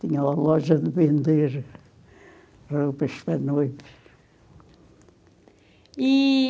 Tinha loja de vender roupas para noivos. E...